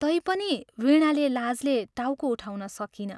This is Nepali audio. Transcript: तैपनि वीणाले लाजले टाउको उठाउन सकिन।